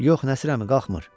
Yox Nəsir əmi qalxmır.